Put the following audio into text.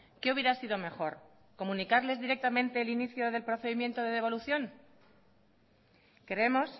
qué hubiera sido mejor comunicarles directamente el inicio del procedimiento de devolución creemos